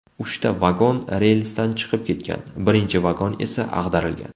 Uchta vagon relsdan chiqib ketgan, birinchi vagon esa ag‘darilgan.